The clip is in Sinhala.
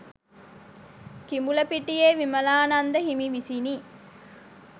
කිඹුලපිටියේ විමලානන්ද හිමි විසිනි.